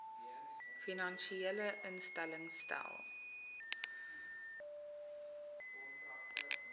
finansiële instellings stel